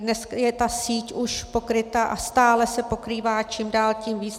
Dnes je ta síť už pokryta a stále se pokrývá čím dál tím víc.